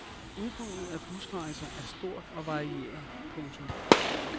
Udbuddet af busrejser er stort og varieret. punktum